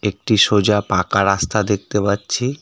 একটি সোজা পাকা রাস্তা দেখতে পাচ্ছি .